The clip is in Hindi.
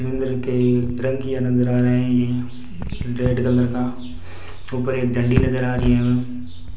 नजर आ रहे हैं यह रेड कलर का ऊपर एक झंडी नजर आ रही है।